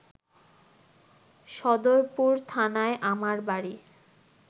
সদরপুর থানায় আমার বাড়ি